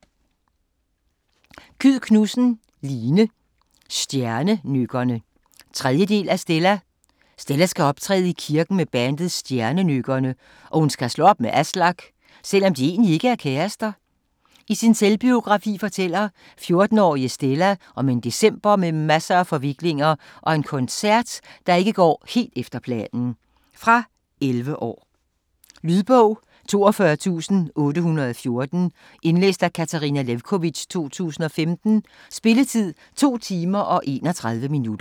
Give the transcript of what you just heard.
Kyed Knudsen, Line: Stjernenykkerne 3. del af Stella. Stella skal optræde i kirken med bandet Stjernenykkerne, og hun skal slå op med Aslak, selvom de egentlig ikke er kærester. I sin selvbiografi fortæller 14-årige Stella om en december med masser af forviklinger og en koncert, der ikke helt går efter planen. Fra 11 år. Lydbog 42814 Indlæst af Katarina Lewkovitch, 2015. Spilletid: 2 timer, 31 minutter.